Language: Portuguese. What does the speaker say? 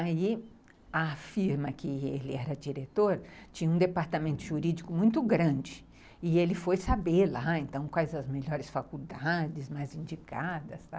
Aí a firma que ele era diretor tinha um departamento jurídico muito grande e ele foi saber lá então quais as melhores faculdades, mais indicadas e tal.